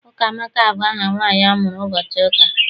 Ụkamaka bụ aha nwaanyị amụrụ ụbọchị ụka.